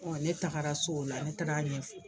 Ne tagara so o la ne taara ɲɛ